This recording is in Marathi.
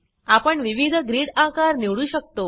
आपण विविध ग्रीड आकार निवडू शकतो